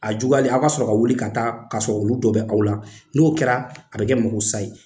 A juguyalen aw ka sɔrɔ ka wuli ka taa ka sɔrɔ olu dɔ bɛ aw la ,n'o kɛra a be kɛ mako sa ye.